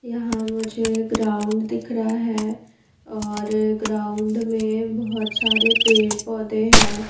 यहाँ मुझे ग्राउन्ड दिख रहा है और ग्राउन्ड मे बहुत सारे पेड़ पौधे है।